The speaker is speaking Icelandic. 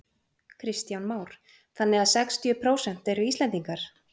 Kristján Már: Þannig að sextíu prósent eru Íslendingar?